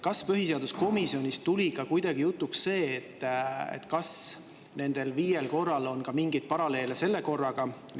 Kas põhiseaduskomisjonis tuli jutuks ka see, kas nendel viiel korral on mingeid paralleele selle korraga?